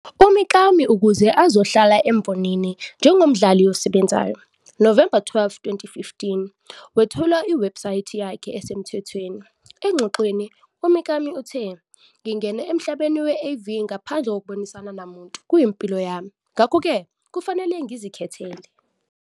UMikami ukuze azohlala embonini njengomdlali osebenzayo. Novemba 12, 2015, wethula iwebhusayithi yakhe esemthethweni. Engxoxweni, uMikami uthe- "Ngingene emhlabeni we-AV ngaphandle kokubonisana namuntu, Kuyimpilo yami, ngakho-ke kufanele ngizikhethele."